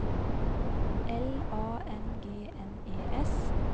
L A N G N E S